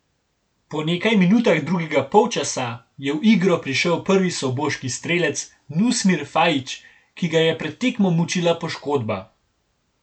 Po nekaj minutah drugega polčasa je v igro prišel prvi soboški strelec Nusmir Fajić, ki ga je pred tekmo mučila poškodba.